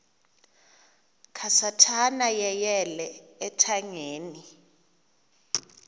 kasathana yeyele ethangeni